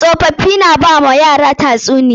Tsofaffii na ba wa yara tatsuniya.